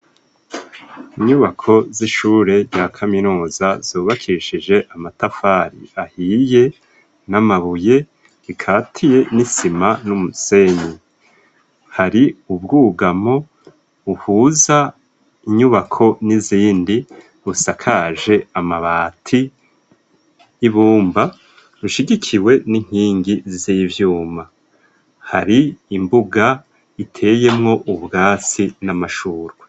Inyubako z'ishure ya kaminuza zubakishije amatafari ahiye n'amabuye, rikatiye n'isima n'umusenyi, hari ubwugamo buhuza inyubako n'izindi busakaje amabati y'ibumba rushigikiwe n'inkingi z'ivyuma hari imbuga iteyemwo ubwatsi n'amashurwa.